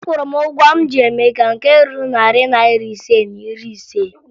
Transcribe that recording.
Akwụrụ m ụgwọ m ji Emeka nke ruru narị naịra ise na iri ise